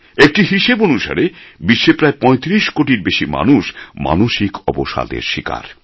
একটি হিসেব অনুসারে বিশ্বে প্রায় পঁয়ত্রিশ কোটির বেশি মানুষ মানসিক অবসাদের শিকার